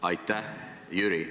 Aitäh, Jüri!